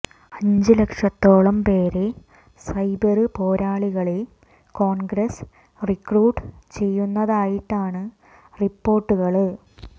അഞ്ചു ലക്ഷത്തോളം പേരെ സൈബര് പോരാളികളെ കോണ്ഗ്രസ് റിക്രൂട്ട് ചെയ്യുന്നതായിട്ടാണ് റിപ്പോര്ട്ടുകള്